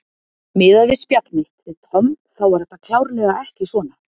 Miðað við spjall mitt við Tom þá var þetta klárlega ekki svona.